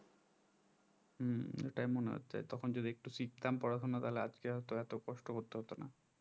হম এটাই মনে হচ্ছে তখন যদি একটু শিখতাম পড়াশোনা তাহলে আজকে হয়তো এত কষ্ট করতে হতো না